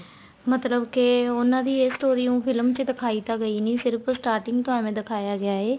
ਮਤਲਬ ਕੇ ਉਹਨਾ ਦੀ ਏ story ਉਹ ਫ਼ਿਲਮ ਚ ਦਿਖਾਈ ਤਾਂ ਗਈ ਨਹੀਂ ਸਿਰਫ਼ starting ਤੋ ਐਵੇ ਦਿਖਾਇਆ ਗਿਆ ਏ